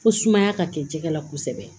Fo sumaya ka kɛ jɛgɛ la kosɛbɛ